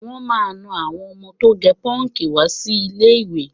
Wọ́n máà ń na àwọn ọmọ tó gẹ pọ́ǹkì wá sí ilé-ìwé